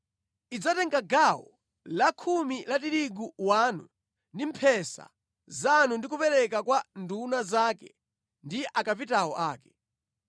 Idzatenga gawo lakhumi la tirigu wanu ndi mphesa zanu ndi kupereka kwa nduna zake ndi akapitawo ake.